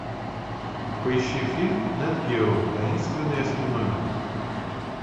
поищи фильм нэт гео таинственные осьминоги